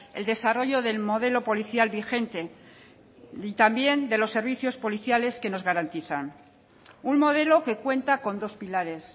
el desarrollo del modelo policial vigente y también de los servicios policiales que nos garantizan un modelo que cuenta con dos pilares